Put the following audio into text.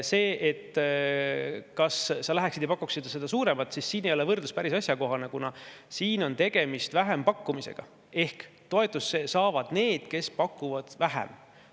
See võrdlus, kas sa läheksid ja pakuksid suuremat, ei ole siin päris asjakohane, kuna tegemist on vähempakkumisega ehk toetust saavad need, kes pakuvad vähem.